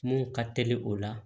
Mun ka teli o la